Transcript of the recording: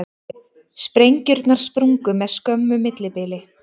Sprengjurnar sprungu með skömmu millibili